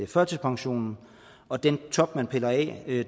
førtidspensionen og den top man piller af